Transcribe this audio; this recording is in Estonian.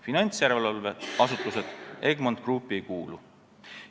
Finantsjärelevalveasutused Egmont Groupi ei kuulu.